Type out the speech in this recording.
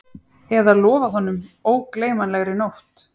Eða lofað honum ógleymanlegri nótt